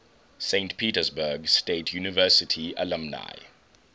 saint petersburg state university alumni